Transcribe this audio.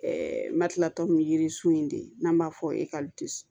matilatɔn mi yiririsun in de n'an b'a fɔ